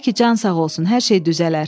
Tək ki can sağ olsun, hər şey düzələr.